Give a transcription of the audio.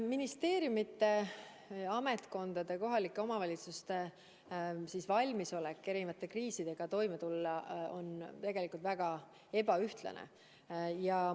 Ministeeriumide, ametkondade, kohalike omavalitsuste valmisolek kriisidega toime tulla on tegelikult väga ebaühtlane.